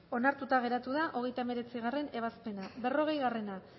contra onartuta geratu da hogeita hemeretzigarrena ebazpena berrogei